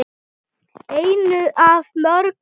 Einu af mörgum.